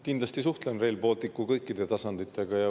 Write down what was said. Kindlasti suhtlen Rail Balticu kõikide tasanditega.